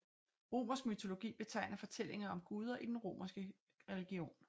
Romersk mytologi betegner fortællinger om guder i den romerske religion